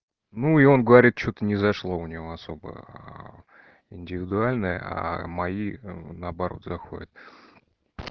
ну и он говорит что-то не зашло у него особо индивидуальное а мои наоборот заходят